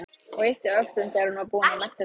Og yppti öxlum þegar hún var búin að melta þetta.